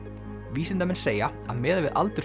vísindamenn segja að miðað við aldur